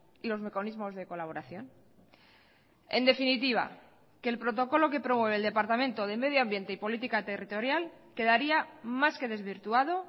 y los mecanismos de colaboración en definitiva que el protocolo que promueve el departamento de medio ambiente y política territorial quedaría más que desvirtuado